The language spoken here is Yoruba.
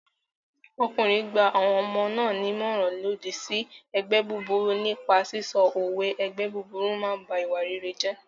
Ọkùnrin gba àwọn ọmọ náà nímọ̀ràn lòdì sí ẹgbẹ́ búburú nípa sísọ òwe "ẹgbẹ́ búburú m ba ìwà rere jẹ́"